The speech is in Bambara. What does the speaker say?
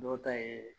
Dɔw ta ye